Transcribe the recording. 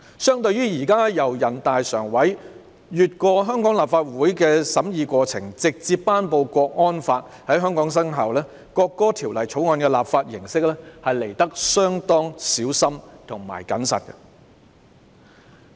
相對於現時全國人民代表大會常務委員會繞過香港立法會的審議過程，直接頒布港區國安法在香港生效的做法，《條例草案》的立法形式相對小心和謹慎。